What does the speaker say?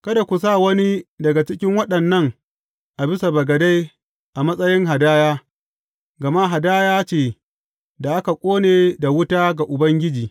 Kada ku sa wani daga cikin waɗannan a bisa bagade a matsayin hadaya, gama hadaya ce da aka ƙone da wuta ga Ubangiji.